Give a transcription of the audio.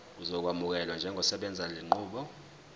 uzokwamukelwa njengosebenzisa lenqubo